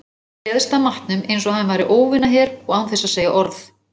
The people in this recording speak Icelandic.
Pabbi réðst að matnum einsog hann væri óvinaher og án þess að segja orð.